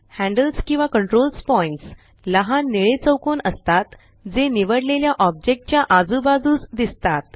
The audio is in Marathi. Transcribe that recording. हॅंडल्स किंवा कंट्रोल्स पॉइण्ट्स लहान निळे चौकोन असतात जे निवडलेल्या ऑब्जेक्ट च्या आजूबाजूस दिसतात